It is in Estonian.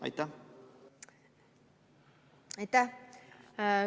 Aitäh!